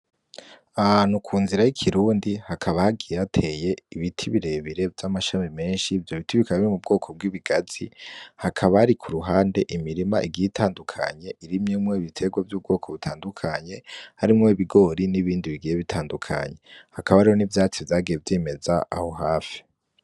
Ahantu ku nzira y'ikirundi hakaba hagiye hateye ibiti birebire vy'amashami menshi vyo biti bikaba biri mu bwoko bw'ibigazi, hakaba hari ku ruhande imirima igiye itandukanye irimyemwo ibiterwa vy'ubwoko butandukanye harimwo ibigori n'ibindi bigiye bitandukanye, hakaba hariho n'ivyatsi vyagiye vyimeza aho hafi.